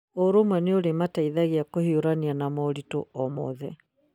Ũrũmwe nĩ ũrĩmateithagia kũhiũrania na moritũ o mothe.